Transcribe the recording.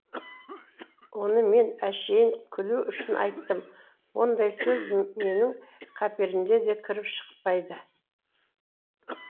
оны мен әшейін күлу үшін айттым ондай сөз менің қаперіме де кіріп шықпайды